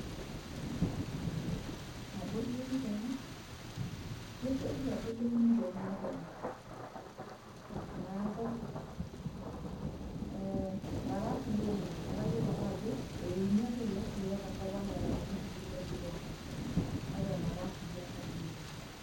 Nabo duo etiu tena, ijo duo kitu adol euni tokuna kwapi. Neeku, mara arriyia oleng', kake ayiolo ake ajo, euni akenye sininye tenkop enaa enauni nkulie daiki pookin, kake mara arriyia tena oleng'.